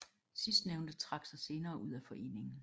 Sidstnævnte trak sig senere ud af foreningen